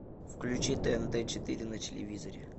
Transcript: включи тнт четыре на телевизоре